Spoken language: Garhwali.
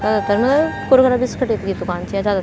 जादातर ना कुरकुरा बिस्किट की दूकान च या जादा --